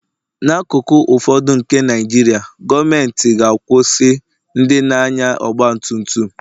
n'akụkụ ụfọdụ nke Naijiria, gọọmentị ga-akwụsị ndị na-anya ọgba tum tum